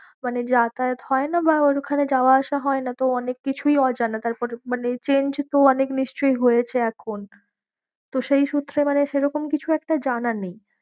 মানে যাতা য়াত হয় না বা ওখানে যাওয়া আসা হয় না। তো অনেক কিছুই অজানা তারপর মানে change তো অনেক নিশ্চই হয়েছে এখন তো সেই সূত্রে মানে সে রকম কিছু একটা জানা নেই।